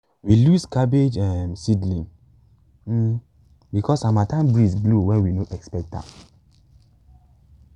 we lose cabbage um seedlings um because harmattan breeze blow when we no expect am